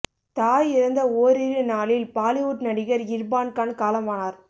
தாய் இறந்த ஓரிரு நாளில் பாலிவுட் நடிகர் இர்பான் கான் காலமானார்